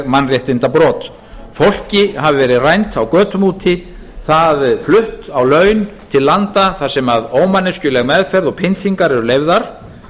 mannréttindabrot fólki hafi verið rænt á götum úti það flutt á laun til landa þar sem ómanneskjuleg meðferð og pyntingar eru leyfðar